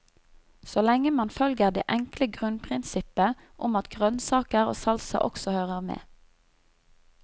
Så lenge man følger det enkle grunnprinsippet om at grønnsaker og salsa også hører med.